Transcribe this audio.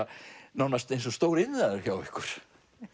nánast eins og stór iðnaður hjá ykkur